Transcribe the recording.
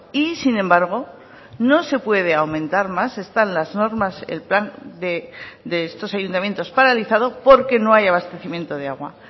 y sin embargo no se puede aumentar más están las normas el plan de estos ayuntamientos paralizado porque no hay abastecimiento de agua